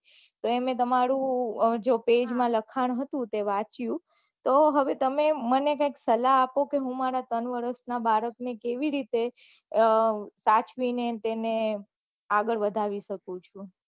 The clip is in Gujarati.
તેને તમારું પેજ માં લખાણ હતું તે વાંચ્યું તો હવે તમે મને સલાહ આપો કે હું મારા ત્રણ વર્ષ ના બાળક ને કેવી રીતે સાચવી ને આગળ વાઘરી સકું છું